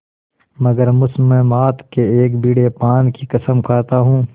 मगर मुसम्मात के एक बीड़े पान की कसम खाता हूँ